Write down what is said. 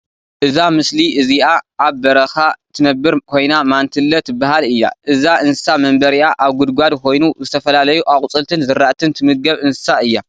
እዛ ምሰሊ እዚአ አብ በረካ ትነብር ኮይና ማንትለ ትበሃል እያ። እዛ እንስሳ መንበሪኣ አብ ጉድጓድ ኮይኑ ዝተፈላለዩ አቁፅልትን ዝራእትን ትምገብ እንስሳ እያ ።